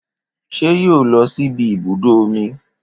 Ṣé yóò lọ síbi ibùdó omi